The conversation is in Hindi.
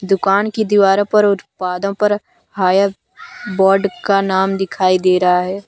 दुकान की दीवारो पर उत्पादों पर हायर बोर्ड का नाम दिखाई दे रहा है।